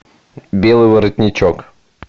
белый воротничок